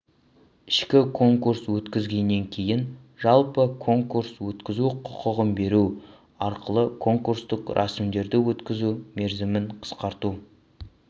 ішкі конкурс өткізгеннен кейін жалпы конкурс өткізу құқығын беру арқылы конкурстық рәсімдерді өткізу мерзімін қысқарту